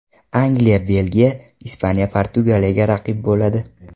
Angliya Belgiyaga, Ispaniya Portugaliyaga raqib bo‘ladi.